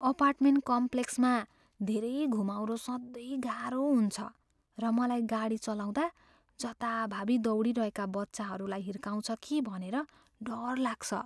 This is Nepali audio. अपार्टमेन्ट कम्प्लेक्समा धेरै घुमाउरो सधैँ गाह्रो हुन्छ र मलाई गाडी चलाउँदा जताभावी दौडिरहेका बच्चाहरूलाई हिर्काउछ कि भनेर डर लाग्छ।